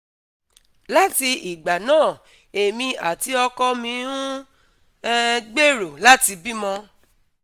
Láti ìgbà náà, èmi àti ọkọ mi ń um gbèrò láti bímọ